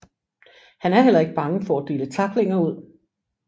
Han er heller ikke bange for at dele tacklinger ud